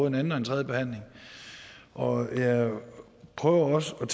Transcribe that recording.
en anden og en tredje behandling og jeg prøver også